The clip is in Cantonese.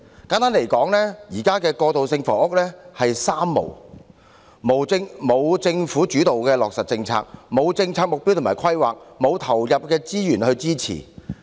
簡單而言，現時過渡性房屋處於"三無"狀態：無政府主導落實的政策、無政策目標及規劃、無投放資源去支持。